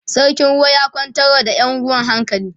sarkin ruwa ya kwantar wa da Yan ruwan hankali